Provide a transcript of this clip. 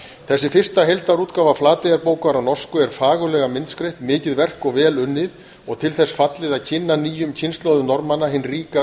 þessi fyrsta heildarútgáfa flateyjarbókar á norsku er fagurlega myndskreytt mikið verk og vel unnið og til þess fallið að kynna nýjum kynslóðum norðmanna hinn ríka